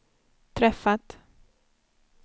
träffat